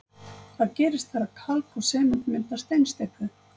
Hvað gerist þegar kalk og sement mynda steinsteypu?